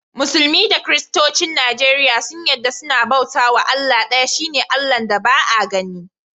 Musulmi da kiristocin Nijeriya sun yadda cewa sunna bauta was Allah daya, shine Allah'n da Ba'a ganni.